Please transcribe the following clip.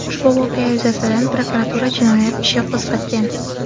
Ushbu voqea yuzasidan prokuratura jinoyat ishi qo‘zg‘atgan.